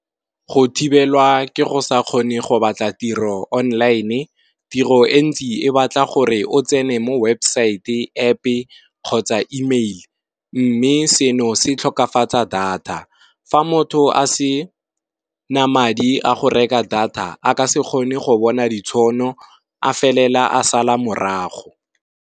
Go thibelwa ke go sa kgone go batla tiro online, tiro e ntsi e batla gore o tsene mo websaete App-e kgotsa email. Mme seno se tlhokafatsa data, fa motho a se na madi a go reka data a ka se kgone go bona ditšhono a felela a sala morago.